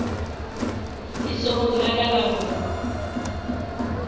letsogong la ka la go